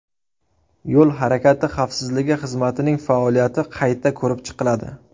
Yo‘l harakati xavfsizligi xizmatining faoliyati qayta ko‘rib chiqiladi.